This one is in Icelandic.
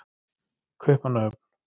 Kaupmannahöfn